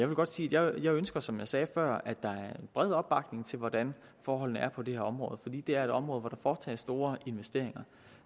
vil godt sige at jeg ønsker som jeg sagde før at der er bred opbakning til hvordan forholdene er på det her område fordi det er et område hvor der foretages store investeringer